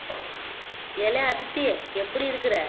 ஏலே அதித்தி எப்படி இருக்கிற